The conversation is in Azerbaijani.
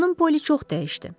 Xanım Poli çox dəyişdi.